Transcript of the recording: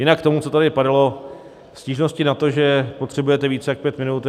Jinak k tomu, co tady padalo, stížnosti na to, že potřebujete víc jak pět minut.